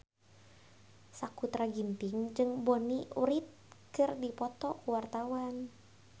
Sakutra Ginting jeung Bonnie Wright keur dipoto ku wartawan